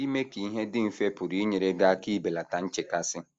Ime ka ihe dị mfe pụrụ inyere gị aka ibelata nchekasị.